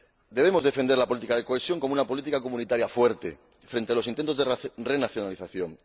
Debemos defender la política de cohesión como una política comunitaria fuerte frente a los intentos de renacionalización.